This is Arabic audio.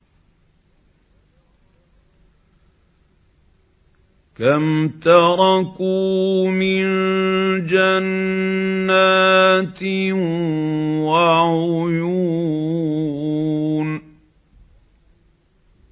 كَمْ تَرَكُوا مِن جَنَّاتٍ وَعُيُونٍ